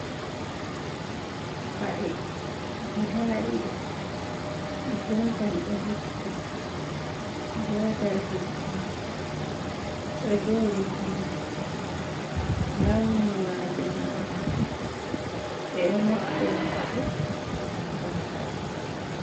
Paɗe guda ɗiɗi; gotel ɗo hippi gotel hippaka ɗo joɗi ha leddi lawni majum burawn ɓeɗo naftira paɗe ngam padugo.